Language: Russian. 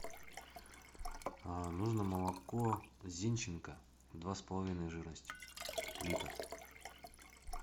нужно молоко зинченко два с половиной жирности литр